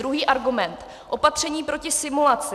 Druhý argument - opatření proti simulaci.